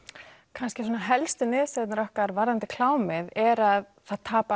kannski svona helstu niðurstöðurnar okkar varðandi klámið er að það tapa